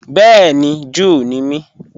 Bẹẹ̀ni, Júù ní mí.